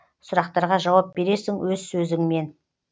сұрақтарға жауап бересің өз сөзіңмен